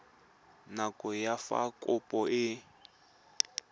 nako ya fa kopo e